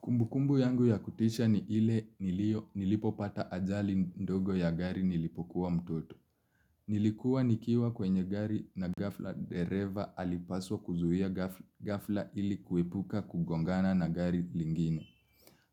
Kumbukumbu yangu ya kutisha ni ile nilio nilipopata ajali ndogo ya gari nilipokuwa mtoto. Nilikuwa nikiwa kwenye gari na gafla dereva alipaswa kuzuhia gafla ili kuepuka kugongana na gari lingine.